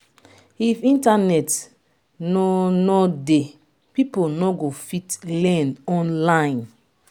if internet no no dey people no go fit learn online